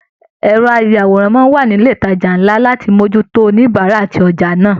Ẹrọ ayàwòrán máa n wà nilè ìtàjà nlá láti mojútó àwọn oníbárà àti ojà náà.